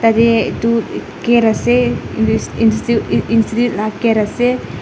yate edu gate ase institute la gate ase.